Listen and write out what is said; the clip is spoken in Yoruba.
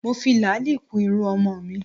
Mo fi làálì kun irun ọmọ mi